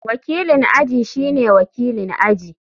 Wakilin aji shine wakilin aji.